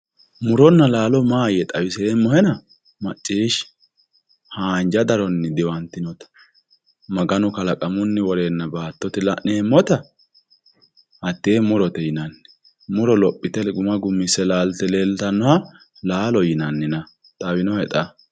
muronna laalo maahoyye xawiseemmohena macciishshi haanja daronni diwantinota maganu kalaqamunni woreenna baattote iima la'neemmota hattee murote yinanni muro lophite gumma gummisse leeltannoha laalote yineemmona xawinohe xa?